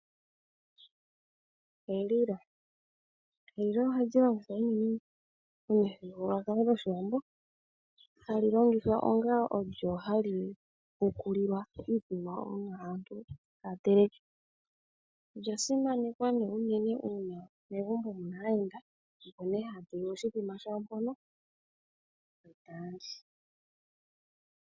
Elilo ,elilo ohali longithwa unene momuthigululwakalo gwOshiwambo hali longithwa onga olyo hali hukulilwa iikulya uuna aantu taa teleke, olya simana nee nande uuna pena omuyenda opo nee haa tula oshithima shawo mpono eeta li.